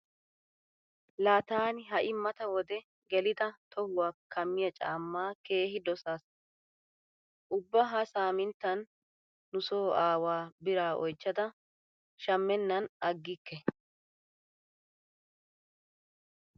Laa taani ha"i mata wode gelida tohuwa kammiya cammaa keehi dosaas. Ubba ha saaminttan nu so aawaa biraa oychchada shammennan aggikke.